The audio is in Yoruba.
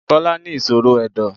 Bọ́lá ní ìṣòro Ẹ̀dọ̀.